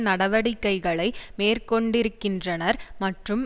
நடவடிக்கைகளை மேற்கொண்டிருக்கின்றனர் மற்றும்